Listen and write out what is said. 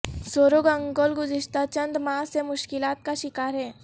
سورو گنگول گزشتہ چند ماہ سے مشکالات کا شکار ہے